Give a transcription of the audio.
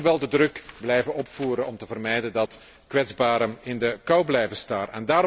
Maar we moeten wel de druk blijven opvoeren om te vermijden dat kwetsbaren in de kou blijven staan.